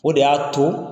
O de y'a to